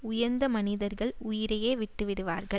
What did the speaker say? உயர்ந்த மனிதர்கள் உயிரையே விட்டு விடுவார்கள்